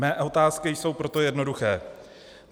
Mé otázky jsou proto jednoduché.